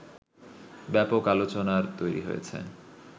ব্যাপক আলোচনার তৈরী হয়েছে